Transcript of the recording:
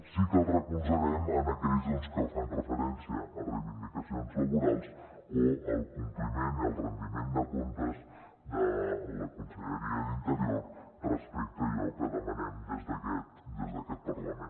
sí que la recolzarem en aquells doncs que fan referència a reivindicacions laborals o al compliment i al rendiment de comptes de la conselleria d’interior respecte a allò que demanem des d’aquest parlament